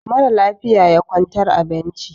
mara lafiya ya kwantar a benci